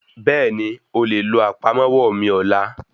Bẹ́ẹ̀nì,o lè lo àpamọ́wọ́ mí ọlá.